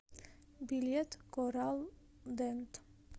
билет кораллдент